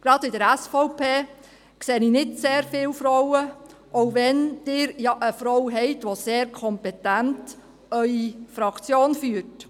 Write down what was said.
Gerade bei der SVP sehe ich nicht sehr viele Frauen – auch wenn Sie eine Frau haben, die Ihre Fraktion erst noch sehr kompetent führt.